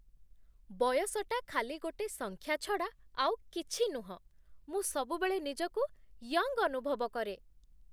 ବୟସଟା ଖାଲି ଗୋଟେ ସଂଖ୍ୟା ଛଡ଼ା ଆଉ କିଛି ନୁହଁ । ମୁଁ ସବୁବେଳେ ନିଜକୁ ୟଙ୍ଗ୍ ଅନୁଭବ କରେ ।